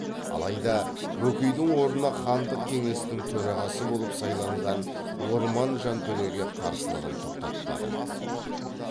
алайда бөкейдің орнына хандық кеңестің төрағасы болып сайланған орман жантөреге қарсылығын тоқтатпады